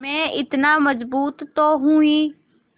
मैं इतना मज़बूत तो हूँ ही